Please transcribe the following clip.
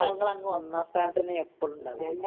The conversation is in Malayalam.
ഞങ്ങളാങ്ങ് ഒന്നാം സ്ഥാനത്ത് തന്നെ എപ്പളും ഉണ്ടാകല്